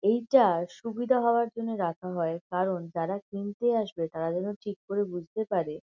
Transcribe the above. এইটা সুবিধা হওয়ার জন্য রাখা হয় কারণ যারা কিনতে আসবে তারা যেন ঠিক করে বুঝতে পারে ।